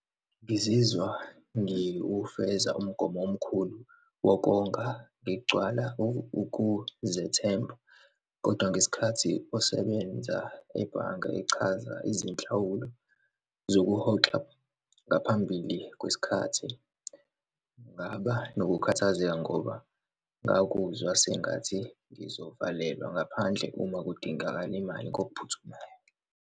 Ngizizwa ngiwufeza umgomo omkhulu wokonga ngigcwala ukuzethemba. Kodwa, ngesikhathi osebenza ebhange, echaza izinhlawulo zokuhoxa ngaphambili kwesikhathi. Ngaba nokukhathazeka ngoba ngakuzwa sengathi ngizovalelwa ngaphandle uma kudingakala imali ngokuphuthumayo.